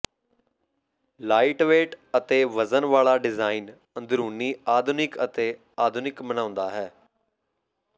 lightweight ਅਤੇ ਵਜ਼ਨ ਵਾਲਾ ਡਿਜ਼ਾਇਨ ਅੰਦਰੂਨੀ ਆਧੁਨਿਕ ਅਤੇ ਆਧੁਨਿਕ ਬਣਾਉਂਦਾ ਹੈ